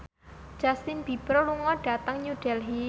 Justin Beiber lunga dhateng New Delhi